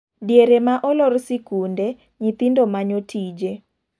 Diere ma olor sikunde ,nyithindo manyo tije.